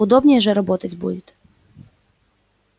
удобнее же работать будет